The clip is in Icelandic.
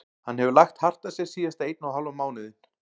Hann hefur lagt hart að sér síðasta einn og hálfan mánuðinn.